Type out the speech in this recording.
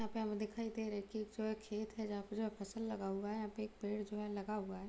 यहाँ पे हमे दिखाई दे रहे है की एक जो है खेत है जहाँ पूरा फसल लगा हुआ है यहाँ पे एक पेड़ जो है लगा हुआ है।